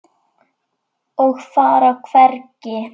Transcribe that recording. Og fara hvergi.